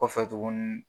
Kɔfɛ tuguni